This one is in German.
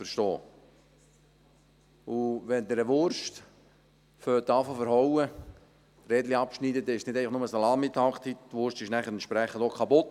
Wenn Sie eine Wurst anschneiden und Rädchen schneiden, ist das nicht nur Salamitaktik, sondern die Wurst ist dann entsprechend auch kaputt.